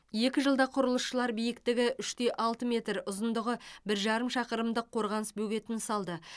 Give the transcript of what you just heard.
екі жылда құрылысшылар биіктігі үш те алты метр ұзындығы бір жарым шақырымдық қорғаныс бөгетін салды